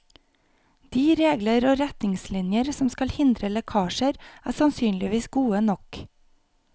De regler og retningslinjer som skal hindre lekkasjer, er sannsynligvis gode nok.